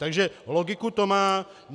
Takže logiku to má.